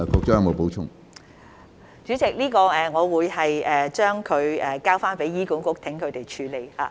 主席，我會將這個問題交由醫管局處理。